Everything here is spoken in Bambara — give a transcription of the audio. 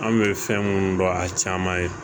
An bɛ fɛn minnu dɔn a caman ye